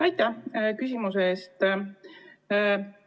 Aitäh küsimuse eest!